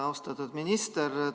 Austatud minister!